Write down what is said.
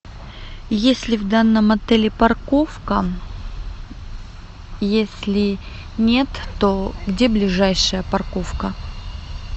есть ли в данном отеле парковка если нет то где ближайшая парковка